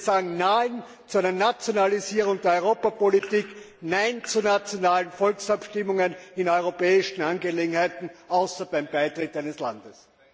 Wir sagen Nein zu einer Nationalisierung der Europapolitik, nein zu nationalen Volksabstimmungen in europäischen Angelegenheiten, außer beim Beitritt des eigenen Landes!